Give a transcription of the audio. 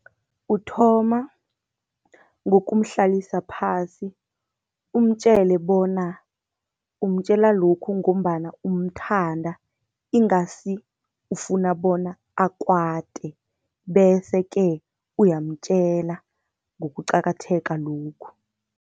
Uthoma ngokumhlalisa phasi, umtjele bona umtjela lokhu ngombana umthanda ingasi ufuna bona akwate. Bese-ke uyamtjela ngokuqakatheka lokhu.